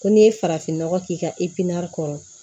Ko n'i ye farafinnɔgɔ k'i ka kɔnɔ